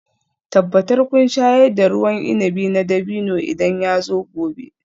Tabbatar kun shayar da ruwan inabi na dabino idan yazo gobe